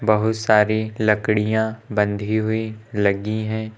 बहुत सारी लकड़ियां बंधी हुई लगी हैं।